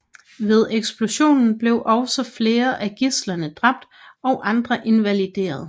Ved eksplosionen blev også flere af gidslerne dræbt og andre invalideret